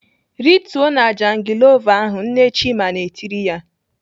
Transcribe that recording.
"Rituo na jangilova ahụ!" Nne Chima na-etiri ya.